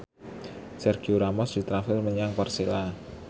Sergio Ramos ditransfer menyang Persela